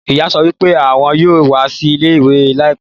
Ìyá sọ wípé àwọn yóò wá sí ilé ìwé laipẹ́